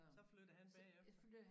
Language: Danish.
Så flyttede han bagefter